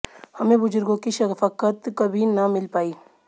हमें बुज़ुर्गों की शफ़क़त कभी न मिल पाई